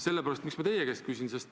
Miks ma seda teie käest küsin?